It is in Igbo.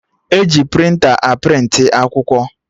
E ji prịnta a prịntị akwụkwọ